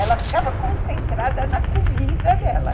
Ela ficava concentrada na comida dela.